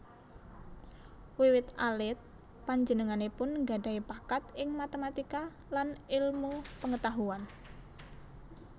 Wiwit alit panjenenganipun nggadhahi bakat ing matematika lan ilmu pangetahuan